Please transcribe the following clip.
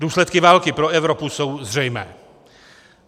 Důsledky války pro Evropu jsou zřejmé.